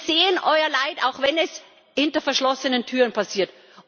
Wir sehen euer Leid, auch wenn es hinter verschlossenen Türen passiert.